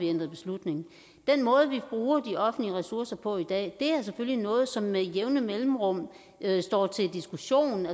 ændret beslutning den måde vi bruger de offentlige ressourcer på i dag er selvfølgelig noget som med jævne mellemrum står til diskussion